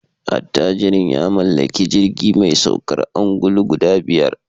Attajirin ya mallaki jirgi mai saukar ungulu guda biyar